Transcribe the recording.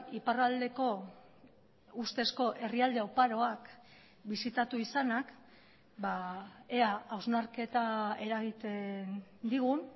iparraldeko ustezko herrialde oparoak bisitatu izanak ea hausnarketa eragiten digun